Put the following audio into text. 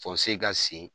Fɔ se ka sen